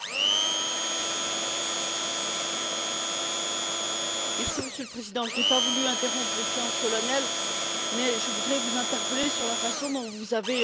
Monsieur le Président, je n'ai pas voulu interrompre les séances solennelles, mais je voudrais vous interpeller sur la façon dont vous avez présidé nos travaux hier lors de l'échange avec la chancelière Merkel.